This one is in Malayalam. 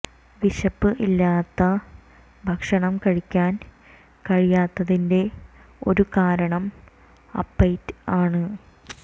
വിശപ്പ് ഇല്ലാത്ത ഭക്ഷണം കഴിക്കാൻ കഴിയാത്തതിൻറെ ഒരു കാരണം അപ്പൈറ്റ് ആണ്